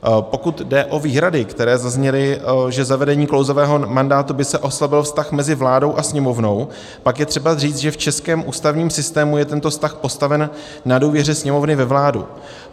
Pokud jde o výhrady, které zazněly, že zavedením klouzavého mandátu by se oslabil vztah mezi vládou a Sněmovnou, pak je třeba říct, že v českém ústavním systému je tento vztah postaven na důvěře Sněmovny ve vládu.